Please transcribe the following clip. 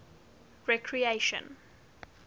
recreation